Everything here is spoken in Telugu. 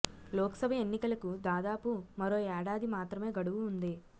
లోకసభ ఎన్నికలకు దాదాపు మరో ఏడాది మాత్రమే గడువు ఉంది